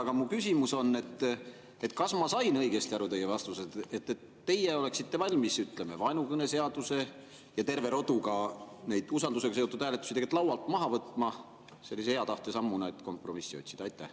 Aga mu küsimus: kas ma sain teie vastusest õigesti aru, et teie oleksite valmis, ütleme, vaenukõneseaduse ja terve rodu usaldusega seotud hääletusi laualt maha võtma, sellise hea tahte sammuna, et kompromissi otsida?